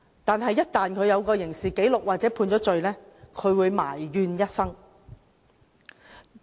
但是，一旦有刑事紀錄或被判罪，便會埋怨一生。